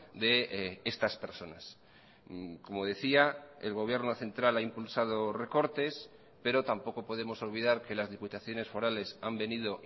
de estas personas como decía el gobierno central ha impulsado recortes pero tampoco podemos olvidar que las diputaciones forales han venido